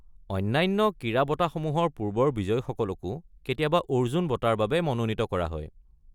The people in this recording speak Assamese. অন্যান্য ক্ৰীড়া বঁটাসমূহৰ পূৰ্বৰ বিজয়ীসকলকো কেতিয়াবা অৰ্জুন বঁটাৰ বাবে মনোনীত কৰা হয়।